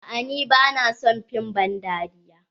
Aa ni bana son fim ban dariya.